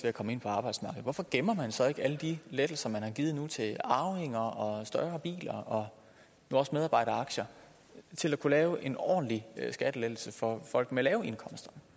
at komme ind på arbejdsmarkedet hvorfor gemmer man så ikke alle de lettelser man har givet til arvinger og større biler og nu også medarbejderaktier til at kunne lave en ordentlig skattelettelse for folk med lave indkomster